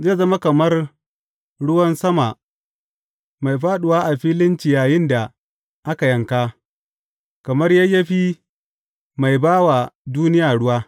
Zai zama kamar ruwan sama mai fāɗuwa a filin ciyayin da aka yanka, kamar yayyafi mai ba wa duniya ruwa.